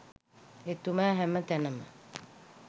එතුමා හැම තැනම